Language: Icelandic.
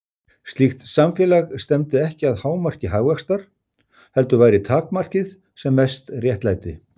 Slíkt samfélag stefndi ekki að hámarki hagvaxtar, heldur væri takmarkið sem mest réttlæti.